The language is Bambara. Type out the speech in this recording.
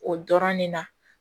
O dɔrɔn ne na